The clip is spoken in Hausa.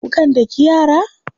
Kukan daki yara?